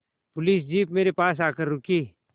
police jeep मेरे पास आकर रुकी